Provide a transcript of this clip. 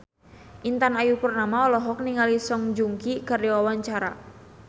Intan Ayu Purnama olohok ningali Song Joong Ki keur diwawancara